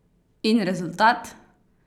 In rezultat?